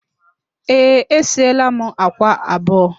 Ee, esieela m àkwá abụọ